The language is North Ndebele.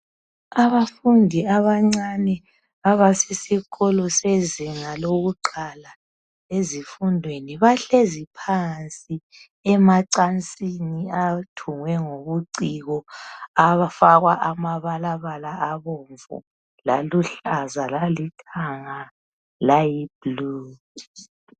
Abafundi abancane abesesikolo sezinga lakuqala. Bahlezi phansi emacansini athungwe ngobuciko afakwa amabalabala abomvu, aluhlaza lalithanga layiblue.